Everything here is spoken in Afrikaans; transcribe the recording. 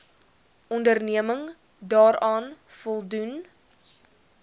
onderneming daaraan voldoen